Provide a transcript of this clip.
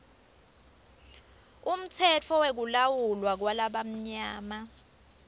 umtsetfo wekulawulwa kwalabamnyama